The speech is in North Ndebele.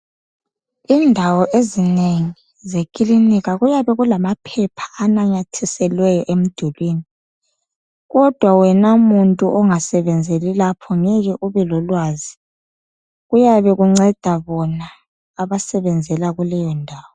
Indawo ezinengi zekilinika kuyabe kulamaphepha ananyathiselweyo emdulini. Kodwa wena muntu ongasebenzeli lapho ngeke ubelolwazi, kuyabe kunceda bona abasebenzela kuleyondawo.